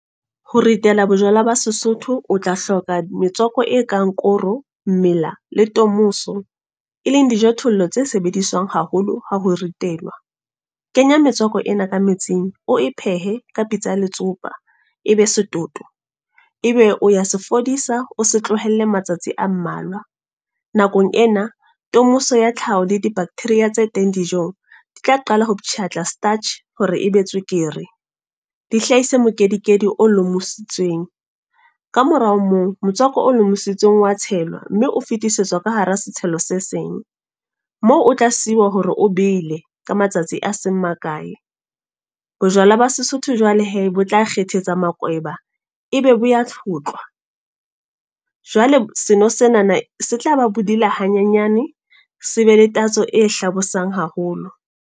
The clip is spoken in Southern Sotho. Ho ritela bojwala ba Sesotho. O tla hloka metswako e kang koro, mmela le tomoso. E leng dijothollo tse sebediswang haholo ha ho ritelwa. Kenya metswako ena ka metsing oe pehe, ka pitsa ya letsopa. E be setoto, ebe o ya se fodisa, o se tlohelle matsatsi a mmalwa. Nakong ena, tomoso ya tlhaho le di-bacteria tse teng dijong. Di tla qala ho ptjhatla starch, hore e be tswekere. Di hlahise mokedikedi o lomositsweng. Ka mora moo, motswako O lomusitsweng o wa tshelwa, mme o fetisetswa ka hara setshelo se seng. Moo o tla siiwa hore o bele ka matsatsi a seng makae. Bojwala ba Sesotho jwale hee bo tla kgethetse makweba e be bo ya tlhotlhwa. Jwale seno senana se tla ba bodila hanyenyane, se be le tatso e hlabosang haholo.